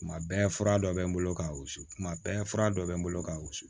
Tuma bɛɛ fura dɔ bɛ n bolo ka wusu kuma bɛɛ fura dɔ bɛ n bolo ka wusu